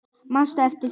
Manstu eftir því?